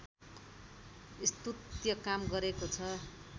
स्तुत्य काम गरेको छ